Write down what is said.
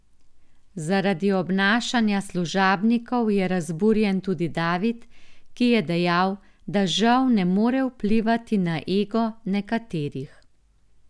Zaradi obnašanja služabnikov je razburjen tudi David, ki je dejal, da žal ne more vplivati na ego nekaterih.